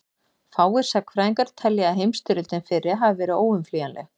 fáir sagnfræðingar telja að heimsstyrjöldin fyrri hafi verið óumflýjanleg